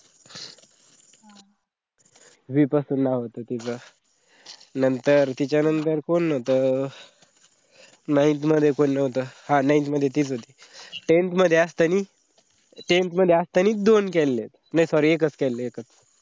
v पासून नाव होत तीच. नंतर तिच्या नंतर कोण होता? ningth मध्ये कोणी नव्हता? आह ningth मध्ये तीच होती. tenth मध्ये असतानी tenth मध्ये असतानी दोन केलेथ, नाही sorry एकच केलेलं एकच केले.